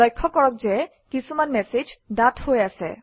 লক্ষ্য কৰক যে কিছুমান মেচেজ ডাঠ হৈ আছে